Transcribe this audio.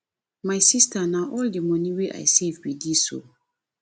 my sister na all the money wey i save be dis oo